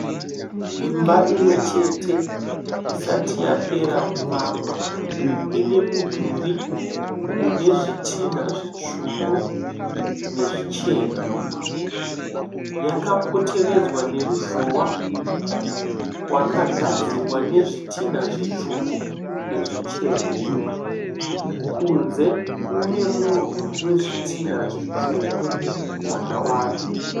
Imba imwe chete isati yapera kuvakwa. Ine mudhuri une zvitinha zvitsvuku nezvichena. Yakapoteredzwa neruzhowa wakagadzirwa nezvitinha zvitsvuku nezvichena. Kunze kune murwi wezvitinha zvitsvuku zvakawanda.